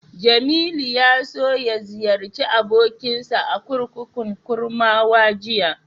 Jamilu ya so ya ziyarci abokinsa a kurkukun Kurmawa jiya.